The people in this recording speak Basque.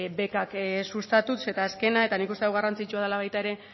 bekak sustatuz eta azkena eta nik uste dut garrantzitsua dela baita ere